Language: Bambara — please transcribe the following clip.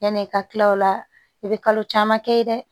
Yanni i ka kila o la i bɛ kalo caman kɛ ye dɛ